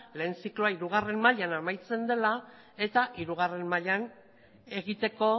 lehen zikloa hirugarren mailan amaitzen dela eta hirugarren mailan egiteko